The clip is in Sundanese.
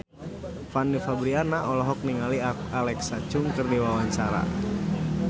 Fanny Fabriana olohok ningali Alexa Chung keur diwawancara